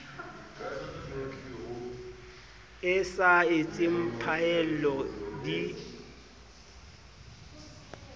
e sa etseng phaello di